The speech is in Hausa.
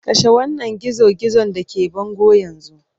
Kashe wannan gizo-gizon da ke bango yanzu!